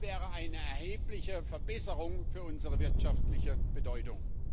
Das wäre eine erhebliche Verbesserung für unsere wirtschaftliche Bedeutung.